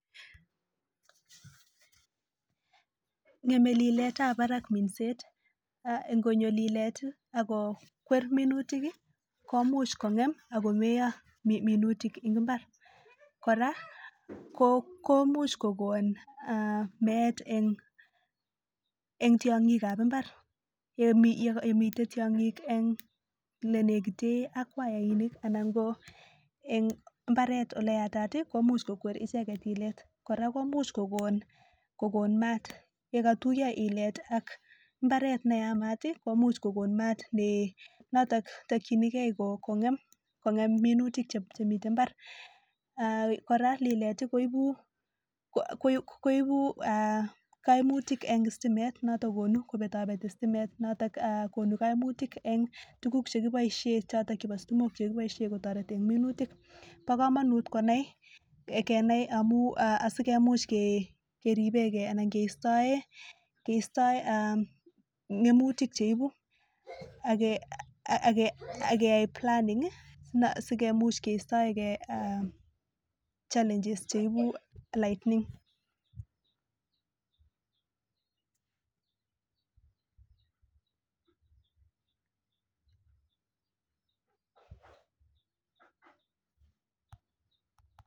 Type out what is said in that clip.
Ng'emdo liletab barak minset konyo lilet akokwer minutik komuch kongem akomeuo minutik en imbar koraa komuch kokon meet en tiangik en imbar yemiten tiangik nenekitek ak wainik anan ko en imbaret oleyatat imuch kokwet icheket ilet koraa komuch kokon mat yekatuiyo ilet ak imbaret neyamat komuch kokon mat noton takingei kongem minutik Chemiten imbar kora lilet koibu kainutik en sitimet kokonu kobetabeti stimet noton konunkaimutik tuguk chekibaishen choton chebo sitimok chekibaishen taretet en minutik bakamanut konai Kenai amun sikenai keribengei anan keistoyen ngemutik cheibu akeyai planning sikemuch kestaengei challenges cheibu l ightning